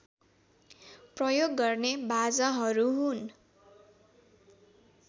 प्रयोग गर्ने बाजाहरू हुन्